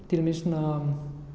til dæmis svona